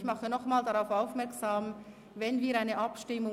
Ich mache nochmals darauf aufmerksam, wenn